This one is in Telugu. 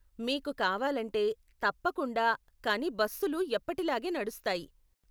మీకు కావాలంటే, తప్పకుండా, కానీ బస్సులు ఎప్పటిలాగే నడుస్తాయి.